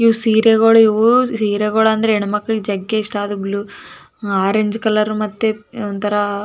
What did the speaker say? ಇದರಲ್ಲಿ ಒಂದು ಸೀರೆ ಕಾನ್ತಾಯಿದೆ. ಸೀರೆಯ ಮೂರು ನಾಲ್ಕು ಪ್ರಕಾರ ಇದೆ. ಅದು ಕಾಂಸ್ತಾಯಿದೆ.